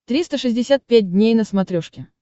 триста шестьдесят пять дней на смотрешке